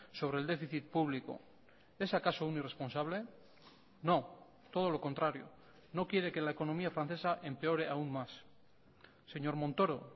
sobre el déficit público es acaso un irresponsable no todo lo contrario no quiere que la economía francesa empeore aún más señor montoro